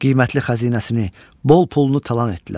Qiymətli xəzinəsini, bol pulunu talan etdilər.